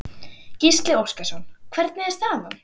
Gísli Óskarsson: Hvernig er staðan?